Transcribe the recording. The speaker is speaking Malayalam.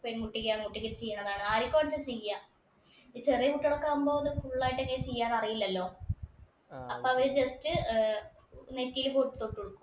പെൺകുട്ടിക്കാണ് ഒറ്റക്കിരുത്തി ചെയ്യണതാണ്. ആർക്കാണെങ്കിലും ചെയ്യാം. ഈ ചെറിയ കുട്ടികളൊക്കെ ആവുമ്പോൾ full ആയിട്ട് ഒക്കെ ചെയ്യാൻ അറിയില്ലല്ലോ. അപ്പൊ അവര് just നെറ്റിയില് പൊട്ട് തൊട്ട് കൊടുക്കും.